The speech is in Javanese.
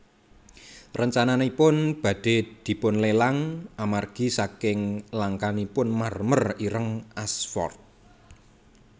Rencananipun badhé dipunlelang amargi saking langkanipun marmer ireng Ashford